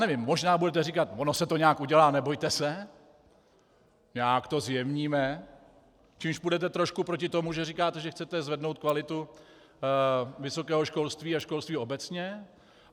Nevím, možná budete říkat: Ono se to nějak udělá, nebojte se, nějak to zjemníme - čímž půjdete trošku proti tomu, že říkáte, že chcete zvednout kvalitu vysokého školství a školství obecně.